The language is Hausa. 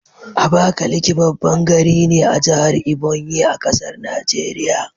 Abakaliki baban gari ne a jahar Ebonyi,a ƙasar Nigeria